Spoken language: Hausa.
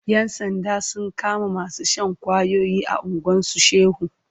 Yan sanda sun kama masu shan ƙwayoyi a unguwan su Shehu.